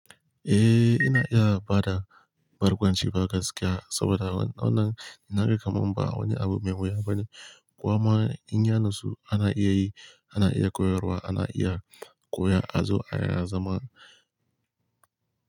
Eh, ina iya bada barkwanci ba gaskiya saboda wannan, na ga kamam ba wani abu mai wuya bane. Ko ma in ya natsu ana iya yi, ana iya koyarwa, ana iya koya, azo ana zama.